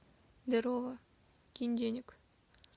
здорово кинь денег